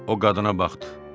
O qadına baxdı.